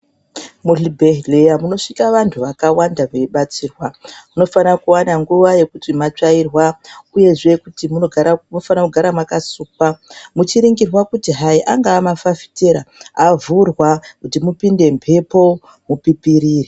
Muzvibhehleya munosvika vantu vakawanda veibatsirwa. Munofana kuwana nguva yekuti matsvairwa, uyezve munofanira kugara makasukwa. Muchiringirwa kuti hayi, angaa mafafitera, avhurwa kuti mupinde mhepo, mupipirire.